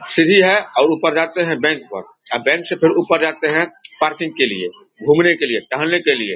सीरी है और ऊपर जाते है बैंक पर आ बैंक से फिर ऊपर जाते हैं पार्किंग के लिए घूमने के लिए टहलने के लिए।